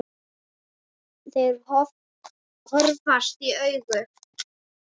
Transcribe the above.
Þeir horfast í augu.